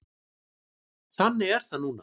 Þannig er það núna.